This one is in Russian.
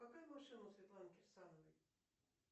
какая машина у светланы кирсановой